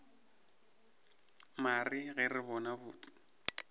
mare ge re bona botse